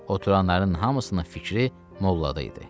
Oturanların hamısının fikri mollada idi.